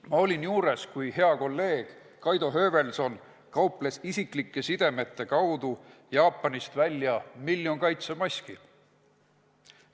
Ma olin juures, kui hea kolleeg Kaido Höövelson kauples isiklike sidemete kaudu Jaapanist välja miljon kaitsemaski.